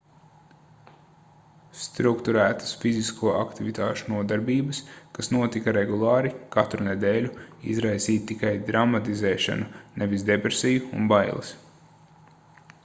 strukturētas fizisko aktivitāšu nodarbības kas notika regulāri katru nedēļu izraisīja tikai dramatizēšanu nevis depresiju un bailes